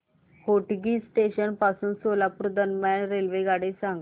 Hotgi junction पासून सोलापूर दरम्यान रेल्वेगाडी सांगा